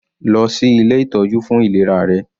Lọ sí ilé ìtọ́jú fún ìlera rẹ.